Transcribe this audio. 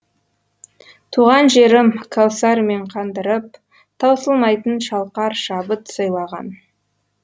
туған жерім кәусарымен қандырып таусылмайтын шалқар шабыт сыйлаған